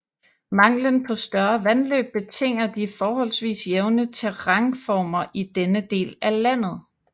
Manglen på større vandløb betinger de forholdsvis jævne terrænformer i denne del af landet